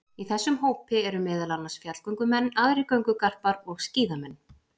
Í þessum hópi eru meðal annars fjallgöngumenn, aðrir göngugarpar og skíðamenn.